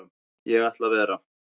Ég ætla að vera.